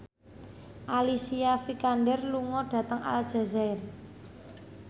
Alicia Vikander lunga dhateng Aljazair